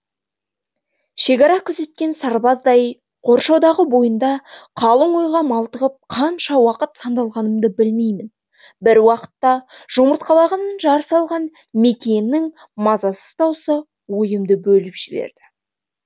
шекара күзеткен сарбаздай қоршаудағы бойында қалың ойға малтығып қанша уақыт сандалғанымды білмеймін бір уақытта жұмыртқалағанын жар салған мекиеннің мазасыз дауысы ойымды бөліп жіберді